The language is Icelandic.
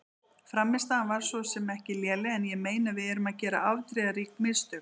Frammistaðan var svo sem ekki léleg en ég meina við erum að gera afdrifarík mistök.